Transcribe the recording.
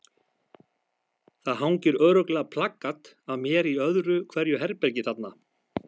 Það hangir örugglega plakat af mér í öðru hverju herbergi þarna.